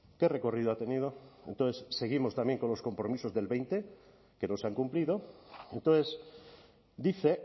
qué recorrido ha tenido entonces seguimos también con los compromisos del veinte que no se han cumplido entonces dice